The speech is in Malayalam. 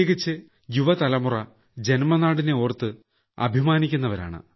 കിച്ച് യുവതലമുറ ജന്മനാടിനെയോർത്ത് അഭിമാനിക്കുന്നവരാണ്